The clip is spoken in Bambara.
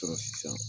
Sɔrɔ sisan